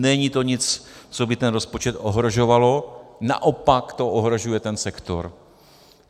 Není to nic, co by ten rozpočet ohrožovalo, naopak to ohrožuje ten sektor.